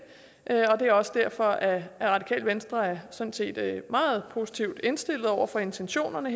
er også derfor at radikale venstre sådan set er meget positivt indstillet over for intensionerne